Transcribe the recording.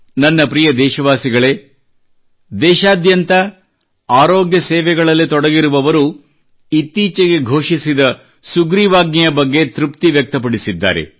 ನನ್ನ ಪ್ರಿಯ ದೇಶವಾಸಿಗಳೇ ದೇಶಾದ್ಯಂತ ಆರೋಗ್ಯ ಸೇವೆಗಳಲ್ಲಿ ತೊಡಗಿರುವವರು ಇತ್ತೀಚೆಗೆ ಘೋಷಿಸಿದ ಸುಗ್ರೀವಾಜ್ಞೆಯ ಬಗ್ಗೆ ತೃಪ್ತಿ ವ್ಯಕ್ತಪಡಿಸಿದ್ದಾರೆ